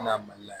mali la